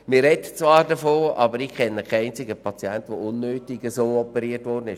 Man spricht zwar davon, aber ich kenne keinen einzigen Patienten, der unnötig operiert worden ist.